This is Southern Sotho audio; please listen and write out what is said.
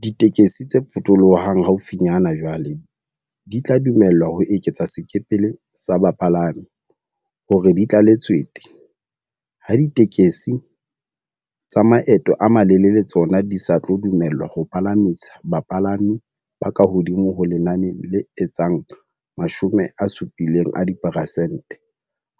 Ditekesi tse potolohang haufinyane jwale di tla dumellwa ho eketsa sekepele sa bapalami hore di tlale tswete, ha ditekesi tsa maeto a malelele tsona di sa tlo dumellwa ho palamisa bapalami ba kahodimo ho lenane le etsang 70 a diperesente,